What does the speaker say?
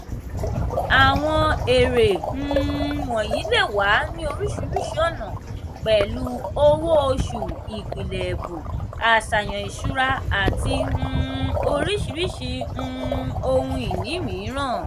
àwọn èrè um wọ̀nyí le wà ní oríṣiríṣi ọ̀nà pẹ̀lú owó-oṣù ìpìlẹ̀ ẹ̀bùn àṣàyàn ìṣura àti um oríṣiríṣi um ohun ìní mìíràn.